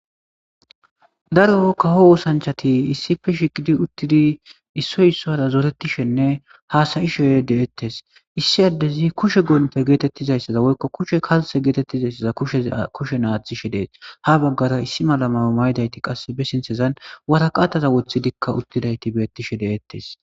daro kaho wosanchati issife shiqidi uttidi issoy issora zoretishenne haasayisheye deettes issi addezi kushe gonte geetettizayssaza woykko kushe kalse geetettizayssaza kushe kushe naathishe dees ha baggara issi malamayo maydayti qass be sinthezan waraqataza wothi dikka uttidayti beettishe deettes